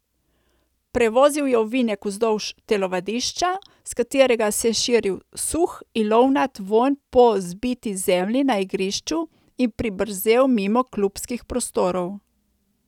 Prevozil je ovinek vzdolž telovadišča, s katerega se je širil suh, ilovnat vonj po zbiti zemlji na igrišču, in pribrzel mimo klubskih prostorov.